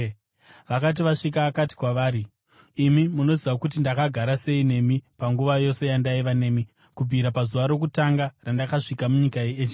Vakati vasvika, akati kwavari, “Imi munoziva kuti ndakagara sei nemi panguva yose yandaiva nemi, kubvira pazuva rokutanga randakasvika munyika yeEzhia.